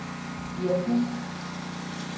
virkning